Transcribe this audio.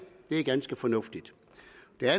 har